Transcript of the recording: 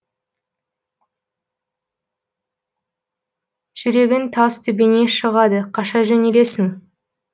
жүрегің тас төбеңе шығады қаша жөнелесің